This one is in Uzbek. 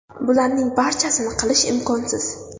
Bularning barchasini qilish imkonsiz.